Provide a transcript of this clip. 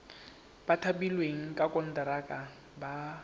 ba thapilweng ka konteraka ba